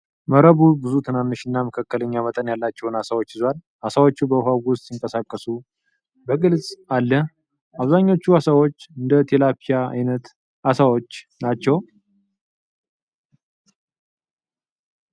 :መረቡ ብዙ ትናንሽ እና መካከለኛ መጠን ያላቸውን ዓሦች ይዟል፤ ዓሦቹ በውኃው ውስጥ ሲንቀሳቀሱ በግልጽ አለ። አብዛኞቹ ዓሦች እንደ ቲላፒያ ዓይነት ዓሦች ናቸው።